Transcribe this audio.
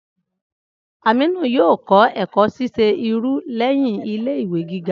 Aminu yoo kọ ẹkọ ṣiṣe irun lẹhin ile-iwe giga.